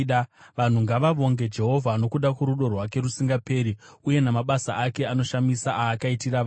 Vanhu ngavavonge Jehovha nokuda kworudo rwake rusingaperi, uye namabasa ake anoshamisa aakaitira vanhu.